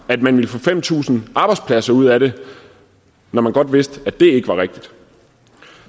at man ville få fem tusind arbejdspladser ud af det når man godt vidste at det ikke var rigtigt